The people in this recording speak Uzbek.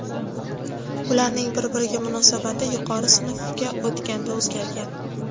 Ularning bir-biriga munosabati yuqori sinfga o‘tganida o‘zgargan.